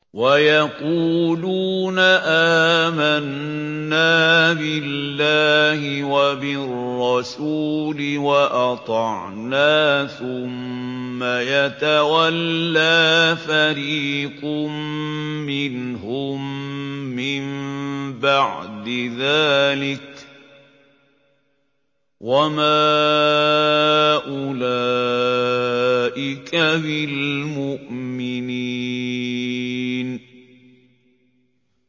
وَيَقُولُونَ آمَنَّا بِاللَّهِ وَبِالرَّسُولِ وَأَطَعْنَا ثُمَّ يَتَوَلَّىٰ فَرِيقٌ مِّنْهُم مِّن بَعْدِ ذَٰلِكَ ۚ وَمَا أُولَٰئِكَ بِالْمُؤْمِنِينَ